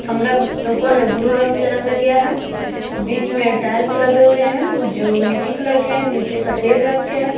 कमरा म्म ऊपर में ब्लू रंग से रंगा गया है। बीच में टाइल्स लगे हुए हैं जो मिट्टी कलर के हैं नीचे सफेद रंग के है।